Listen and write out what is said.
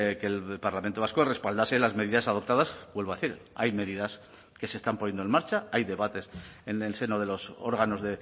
que el parlamento vasco respaldase las medidas adoptadas vuelvo a decir hay medidas que se están poniendo en marcha hay debates en el seno de los órganos